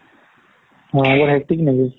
বৰ hectic নেকি